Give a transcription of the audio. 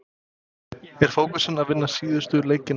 Er fókusinn á að vinna síðustu leikina?